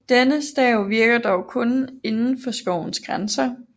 Denne stav virker dog kun indenfor skovens grænser